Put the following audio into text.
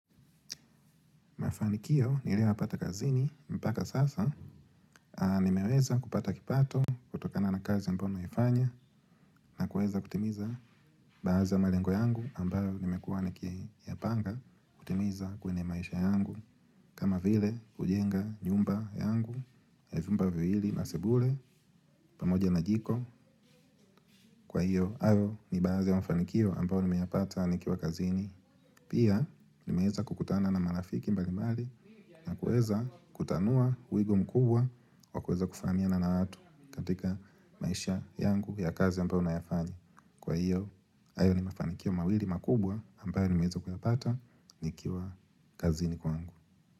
Mafanikio niliyoyapata kazini mpaka sasa, nimeweza kupata kipato kutokana na kazi ambayo naifanya, na kuweza kutimiza baa za malengi yangu, ambayo nimekuwa nikiyapanga kutimiza kwenye maisha yangu, kama vile, kujenga nyumba yangu ya vyumba viwili na sebule, pamoja na jiko, kwa hiyo hayo ni baadhi ya mafanikio ambayo nimeyapata nikiwa kazini. Pia, nimeweza kukutana na marafiki mbali mbali na kuweza kutanua uigo mkubwa wa kuewza kufahamia na watu katika maisha yangu ya kazi ambayo nayafanya kwa hiyo hayo ni mafanikio mawili makubwa ambayo nimeweza kuyapata nikiwa kazini kwangu.